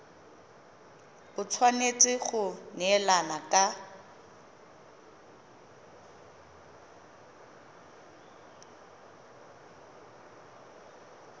e tshwanetse go neelana ka